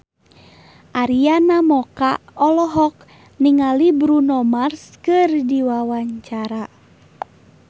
Arina Mocca olohok ningali Bruno Mars keur diwawancara